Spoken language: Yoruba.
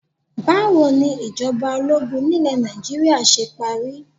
Báwo ni ìjọba ológun nílé Nàìjíríà ṣe parí?